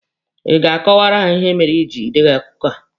Ị ga-akọwaara ha ihe mere iji Ị deghị akụkọ a?